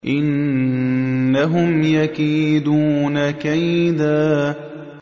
إِنَّهُمْ يَكِيدُونَ كَيْدًا